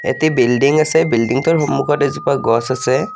এটি বিল্ডিং আছে বিল্ডিংটোৰ সন্মুখত এজোপা গছ আছে।